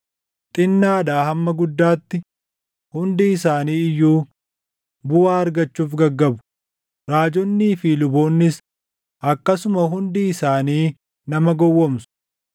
“Xinnaadhaa hamma guddaatti hundi isaanii iyyuu buʼaa argachuuf gaggabu; raajonnii fi luboonnis akkasuma hundi isaanii nama gowwoomsu.